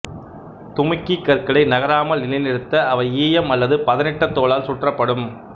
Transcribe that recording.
துமுக்கிக்கற்களை நகராமல் நிலைநிறுத்த அவை ஈயம் அல்லது பதனிட்ட தோலால் சுற்றப்படும்